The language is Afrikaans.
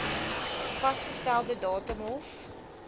vasgestelde datum hof